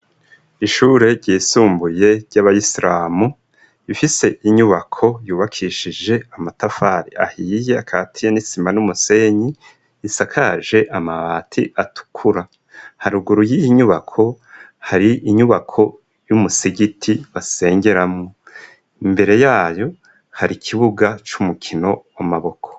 Ishure ryisumbuye ry'abaisiramu ifise inyubako yubakishije amatafari ahiye akati ya nitsima n'umusenyi isakaje amabati atukura haruguru y'inyubako hari inyubako y'umusigiti basengeramwo imbere yayo hari ikibuga c'umukino amaboko.